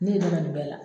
Ne ye ne dɛmɛ nin bɛɛ la